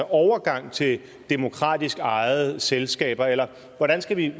overgang til demokratisk ejede selskaber eller hvordan skal vi